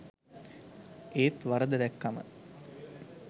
ඒත් වරද දැක්කම